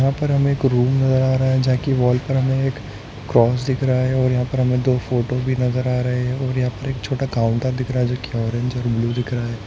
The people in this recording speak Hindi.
यहाँ पर हम एक रूम नजर आ रहा है जां की वॉल पर हमें एक क्रॉस दिख रहा है और यहाँ पर हमें दो फोटो भी नजार आ रहे है और यहाँ पर एक छोटा काउन्टर दिख रहा है जो कि ऑरेंज और ब्लू दिख रहा है।